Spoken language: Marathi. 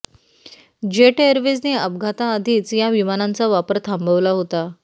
जेट एअरवेजने अपघाताआधीच या विमानांचा वापर थांबवला होता